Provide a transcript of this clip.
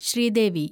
Sridevi